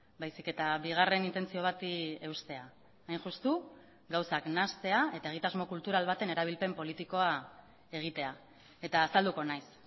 baizik eta bigarren intentzio bati eustea hain justu gauzak nahastea eta egitasmo kultural baten erabilpen politikoa egitea eta azalduko naiz